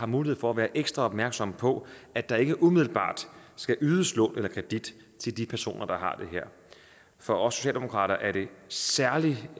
mulighed for at være ekstra opmærksomme på at der ikke umiddelbart skal ydes lån eller kredit til de personer der har det her for os socialdemokrater er det særlig